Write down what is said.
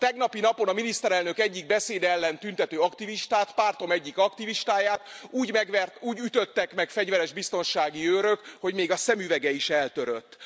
A tegnapi napon a miniszterelnök egyik beszéde ellen tüntető aktivistát, pártom egyik aktivistáját, úgy ütöttek meg fegyveres biztonsági őrök, hogy még a szemüvege is eltörött.